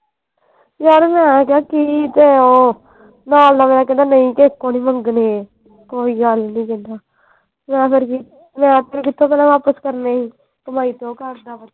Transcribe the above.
ਯਾਰ ਮੈਂ ਕਿਹਾ ਕੀ ਕਰਾਂ ਮਲਦਾ ਮੇਰਾ ਕਹਿੰਦਾ ਨਹੀਂ ਕਿਸੇ ਕੋਲੋਂ ਨਹੀਂ ਮੰਗਣੇ ਕੋਈ ਗੱਲ ਨਹੀਂ ਕਹਿੰਦਾ ਮੈਂ ਫੇਰ ਕਿ ਮੈਂ ਫੇਰ ਕਿਥੋਂ ਵਾਪਸ ਕਰਨੇ ਹੀ ਕਮਾਈ ਤੇ ਉਹ ਕਰਦਾ ਵਾ।